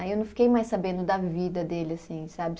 Aí eu não fiquei mais sabendo da vida dele, assim, sabe?